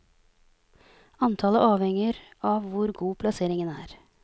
Antallet avhenger av hvor god plasseringen er.